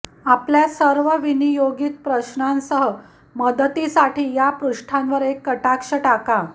आपल्या सर्व विनियोगित प्रश्नांसह मदतीसाठी या पृष्ठांवर एक कटाक्ष टाका